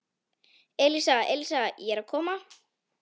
Elísa, Elísa, ég er að koma